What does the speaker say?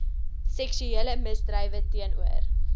seksuele misdrywe teenoor